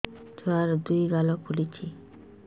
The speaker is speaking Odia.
ଛୁଆର୍ ଦୁଇ ଗାଲ ଫୁଲିଚି